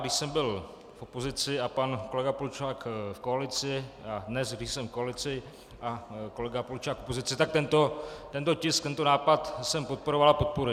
Když jsem byl v opozici a pan kolega Polčák v koalici, a dnes, když jsem v koalici a kolega Polčák v opozici, tak tento tisk, tento nápad jsem podporoval a podporuji.